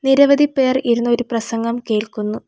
നിരവധി പേർ ഇരുന്ന് ഒരു പ്രസംഗം കേൾക്കുന്നു.